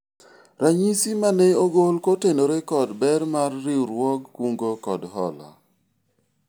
ranyisi mane ogol kotenore kod ber mar riwruog kungo kod hola